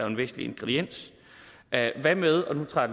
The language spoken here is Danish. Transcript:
en vigtig ingrediens hvad med og nu tager